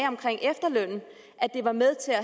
at det var med til at